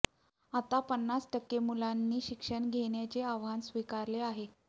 आता पन्नास टक्के मुलांनी शिक्षण घेण्याचे आव्हान स्वीकारले आहे